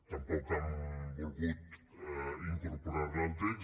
tampoc han volgut incorporar la al text